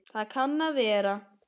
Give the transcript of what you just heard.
Það kann að vera